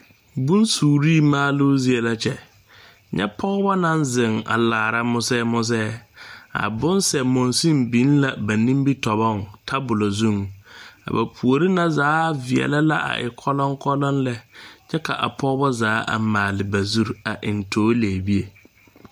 Bonsure maalu zie la kyɛ. Nye pɔgɔbɔ na zeŋ a laara musɛ musɛ. A bonsɛ monsen biŋ la ba nimitɔbɔŋ tabule zuŋ. A ba poore na zaa viɛle la a e koloŋkoloŋ lɛ. Kyɛ ka a pɔgɔbɔ zaa a maale ba zuro a eŋ toɔlɛbie